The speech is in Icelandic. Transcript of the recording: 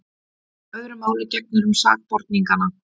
Öðru máli gegnir um sakborningana.